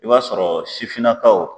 I b'a sɔrɔ sifinnakaw